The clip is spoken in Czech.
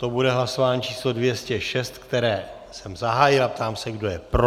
To bude hlasování číslo 206, které jsem zahájil, a ptám se, kdo je pro?